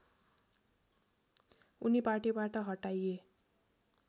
उनी पार्टीबाट हटाइए